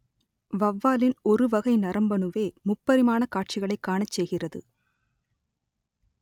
வௌவாலின் ஒரு வகை நரம்பணுவே முப்பரிமாண காட்சிகளைக் காணச் செய்கிறது